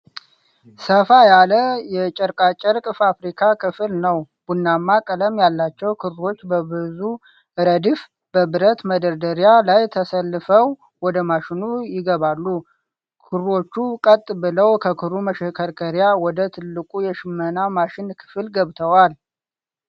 ሰፋ ያለ የጨርቃጨርቅ ፋብሪካ ክፍል ነው፡፡ ቡናማ ቀለም ያላቸው ክሮች በብዙ ረድፍ በብረት መደርደሪያ ላይ ተሰልፈው ወደ ማሽኑ ይገባሉ። ክሮቹ ቀጥ ብለው ከክሩ መሽከርከሪያ ወደ ትልቁ የሽመና ማሽን ክፍል ገብተዋል፡፡